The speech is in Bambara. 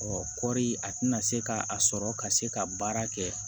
kɔɔri a tɛna se ka a sɔrɔ ka se ka baara kɛ